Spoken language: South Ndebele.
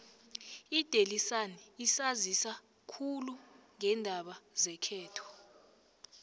idaily sun isanzisa khulu ngeendaba zekhethu